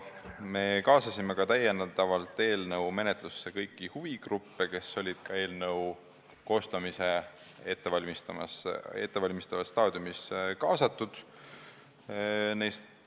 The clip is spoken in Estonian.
Me kaasasime eelnõu menetlusse ka kõiki huvigruppe, kes olid eelnõu koostamise ettevalmistavas staadiumis samuti kaasatud.